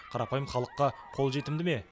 қарапайым халыққа қолжетімді ме